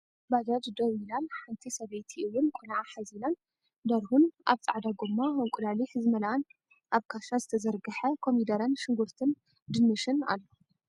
ባጃጅ ደው ኢላን ሓንቲ ሰበይቲ እውንቆልዓ ሓዚላ ን ድርሁን ኣብ ፃዕዳ ጎማ እንቁላሊሕ ዝመልኣንኣብ ክሽ ዝተዘርገሐ ኮደረን ሽጉርትን ድንሽን ኣሎ።